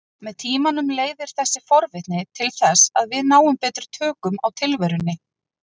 Með tímanum leiðir þessi forvitni til þess að við náum betri tökum á tilverunni.